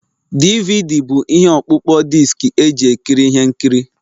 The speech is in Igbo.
DVD bụ ihe ọkpụkpọ diski eji ekiri ihe nkiri